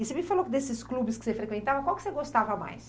E você me falou desses clubes que você frequentava, qual que você gostava mais?